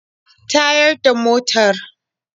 Tayar da motar.